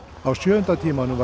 á sjöunda tímanum